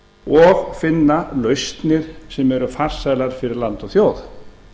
og finna lausnir sem eru farsælar fyrir land og þjóð